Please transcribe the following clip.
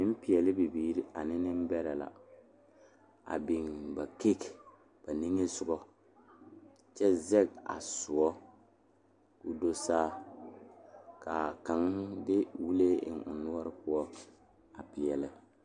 Noba yaga la bebe dɔɔba ane pɔgeba kaa pɔge kaŋ su kpare doɔre kaa dɔɔ meŋ be a ba niŋe saŋ a su Gaana falakyɛ kpare a seɛ Gaana falakyɛ kuri ka o nu bonyene a biŋ teŋa kyɛ teɛ a nu kaŋa meŋ a dɔɔ maale la pele.